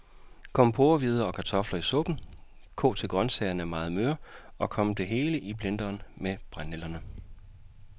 Kom porrehvider og kartofler i suppen, kog til grøntsagerne er meget møre, og kom det hele i blenderen med brændenælderne.